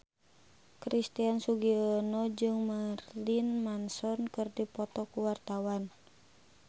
Christian Sugiono jeung Marilyn Manson keur dipoto ku wartawan